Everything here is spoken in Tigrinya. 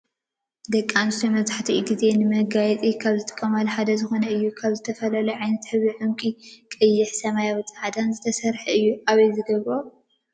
ደቂ ኣንስትዮ መብዛሕቲኡ ግዜ ንመጋየፂ ካብ ዝጥቀማል ሓደ ዝኮነ እዩ። ካብ ዝተፈላለዩ ዓይነት ሕብሪ ዕንቂ ቀይሕን ሰማያዊን ፃዕዳን ዝተሰረሓ እዩ። ኣበይ ዝገብረኦ እዩ?